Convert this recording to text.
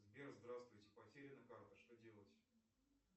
сбер здравствуйте потеряна карта что делать